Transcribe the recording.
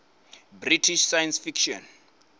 british science fiction